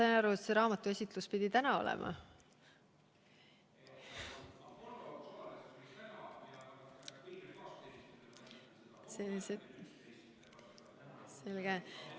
Sain ma aru, et see raamatuesitlus pidi täna olema?